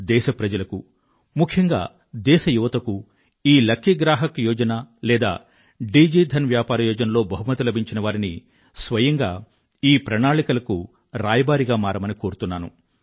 దేశ ప్రజలకు ముఖ్యంగా దేశ యువతకూ ఈ లకీ గ్రాహక్ యోజన లేదా డిజి ధన్ వ్యాపార యోజనలో బహుమతి లభించిన వారిని స్వయంగా ఈ ప్రణాళికలకు రాయబారిగా మారమని కోరుతున్నాను